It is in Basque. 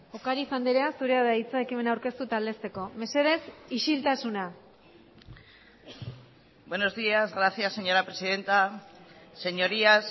ocáriz andrea zurea da hitza ekimena aurkeztu eta aldezteko mesedez isiltasuna buenos días gracias señora presidenta señorías